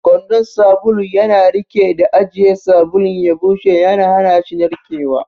Kwandon sabulu yana riƙe da ajiye sabulun ya bushe, yana hana shi narkewa.